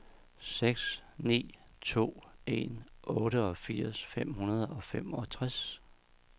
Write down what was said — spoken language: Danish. seks ni to en otteogfirs fem hundrede og femogtres